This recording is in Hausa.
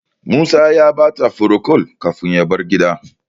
Musa ya bata furocol kafin ya bar gidan.